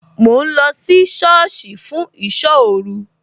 Mò ń lọ sí sọ́ọ̀sì fún ìsọ́ òru